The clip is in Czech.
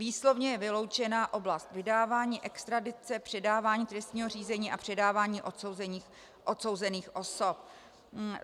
Výslovně je vyloučena oblast vydávání, extradice, předávání trestního řízení a předávání odsouzených osob.